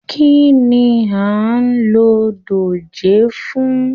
Kínní a n ló dòjé fún?